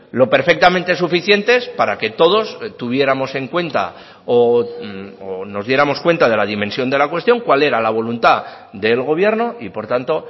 lo perfectamente suficientes para que todos tuviéramos en cuenta o nos diéramos cuenta de la dimensión de la cuestión cuál era la voluntad del gobierno y por tanto